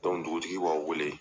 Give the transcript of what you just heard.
dugutigi b'aw wele.